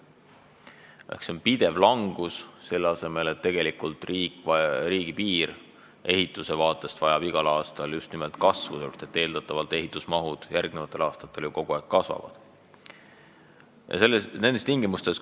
See on pidev langus, kuigi tegelikult riigipiiri ehitus vajab igal aastal just nimelt rohkem raha, sest eeldatavalt ehitusmahud järgmistel aastatel ju kasvavad.